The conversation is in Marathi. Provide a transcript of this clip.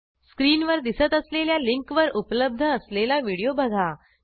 स्क्रीनवर दिसत असलेल्या लिंकवर उपलब्ध असलेला व्हिडिओ बघा